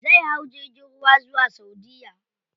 Zai hau jirgin ruwa zuwa saudiya.